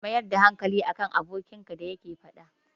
Ka mayar da hankali a kan abinda abokinka yake faɗa maka.